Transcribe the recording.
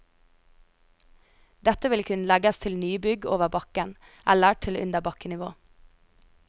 Dette ville kunne legges til nybygg over bakken, eller til under bakkenivå.